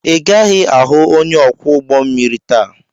Ị gaghị ahụ onye ọkwọ ụgbọ mmiri taa!